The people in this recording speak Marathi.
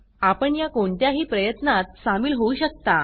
आपण या कोणत्याही प्रयत्नात सामील होऊ शकता